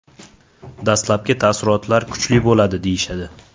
Dastlabki taassurot kuchli bo‘ladi, deyishadi.